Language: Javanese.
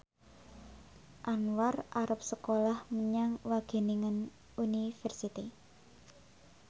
Anwar arep sekolah menyang Wageningen University